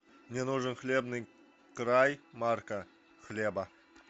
мне нужен хлебный край марка хлеба